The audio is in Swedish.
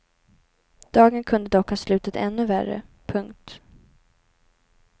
Dagen kunde dock ha slutat ännu värre. punkt